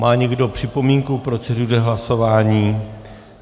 Má někdo připomínku k proceduře hlasování?